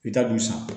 I ta dun san